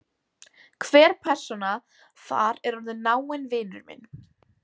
Hver persóna þar er orðinn náinn vinur minn.